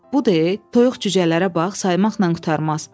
Bu de toyuq cücələrə bax, saymaqla qurtarmaz.